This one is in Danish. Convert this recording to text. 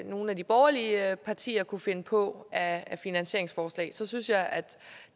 nogle af de borgerlige partier kunne finde på af finansieringsforslag så synes jeg at